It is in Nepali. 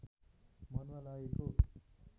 मनमा लागेको